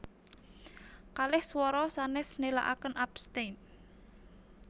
Kalih swara sanès nélakaken abstain